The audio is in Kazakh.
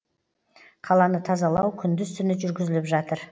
қаланы тазалау күндіз түні жүргізіліп жатыр